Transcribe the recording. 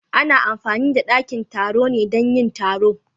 Ana amfani da dakin taro ne dan yin taro?